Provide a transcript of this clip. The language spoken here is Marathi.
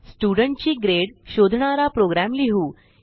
स्टुडेंट ची ग्रेड शोधणारा प्रोग्रॅम लिहू